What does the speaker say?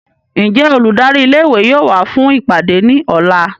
Njẹ oludari ìlé-ìwé yóò wa fun ipade ni ọla?